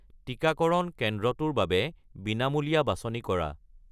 টিকাকৰণ কেন্দ্ৰটোৰ বাবে বিনামূলীয়া বাছনি কৰা।